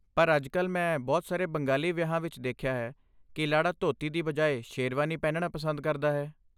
ਪਰ, ਅੱਜਕਲ, ਮੈਂ ਬਹੁਤ ਸਾਰੇ ਬੰਗਾਲੀ ਵਿਆਹਾਂ ਵਿੱਚ ਦੇਖਿਆ ਹੈ ਕਿ ਲਾੜਾ ਧੋਤੀ ਦੀ ਬਜਾਏ ਸ਼ੇਰਵਾਨੀ ਪਹਿਨਣਾ ਪਸੰਦ ਕਰਦਾ ਹੈ।